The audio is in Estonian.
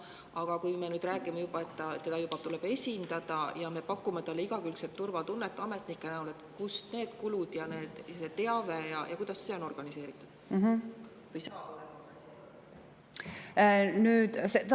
Aga kui me räägime, et teda tuleb esindada ja me pakume talle ametnike abiga igakülgset turvatunnet, siis need kulud ja teave on organiseeritud?